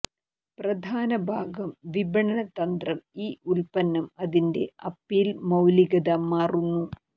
പ്രധാന ഭാഗം വിപണന തന്ത്രം ഈ ഉൽപ്പന്നം അതിന്റെ അപ്പീൽ മൌലികത മാറുന്നു